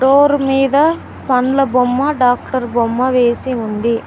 Door మీద పండ్ల బొమ్మ డాక్టర్ బొమ్మ వేసి ఉంది.